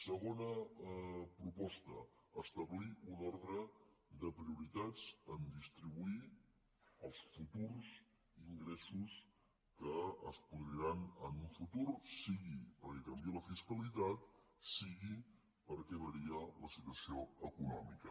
segona proposta establir un ordre de prioritats en distribuir els futurs ingressos que es produiran en un futur sigui perquè canvia la fiscalitat sigui perquè varia la situació econòmica